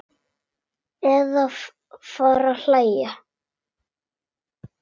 Eða fara að hlæja.